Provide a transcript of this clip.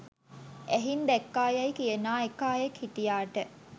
ඇහින් දැක්කා යැයි කියනා එක අයෙක් හිටියාට